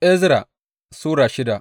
Ezra Sura shida